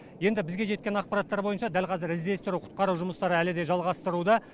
енді бізге жеткен ақпараттар бойынша дәл қазір іздестіру құтқару жұмыстары әлі де жалғастыруда